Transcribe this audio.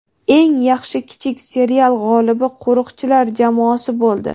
eng yaxshi kichik serial g‘olibi "Qo‘riqchilar" jamoasi bo‘ldi.